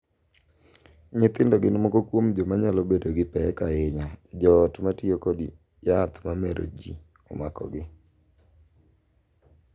Nyithindo gin moko kuom joma nyalo bedo gi pek ahinya e joot ma tiyo kod yath ma mero ji omakogi.